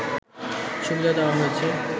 সুবিধা দেয়া হয়েছে